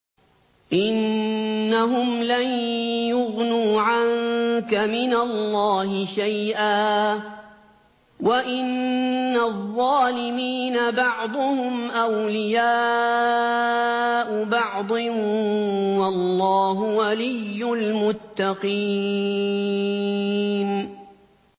إِنَّهُمْ لَن يُغْنُوا عَنكَ مِنَ اللَّهِ شَيْئًا ۚ وَإِنَّ الظَّالِمِينَ بَعْضُهُمْ أَوْلِيَاءُ بَعْضٍ ۖ وَاللَّهُ وَلِيُّ الْمُتَّقِينَ